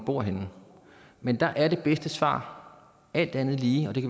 bor henne men der er det bedste svar alt andet lige og det